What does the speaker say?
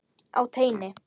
Á teini.